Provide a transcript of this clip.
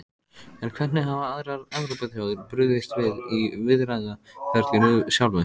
En hvernig hafa aðrar Evrópuþjóðir brugðist við í viðræðuferlinu sjálfu?